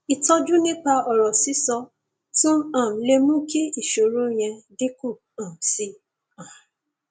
ìtọjú nípa ọrọ sísọ tún um lè mú kí ìṣòro yẹn dínkù um sí um i